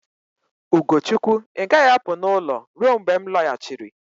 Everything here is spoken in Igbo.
Ugochukwu, ị gaghị apụ n'ụlọ ruo mgbe m lọghachiri.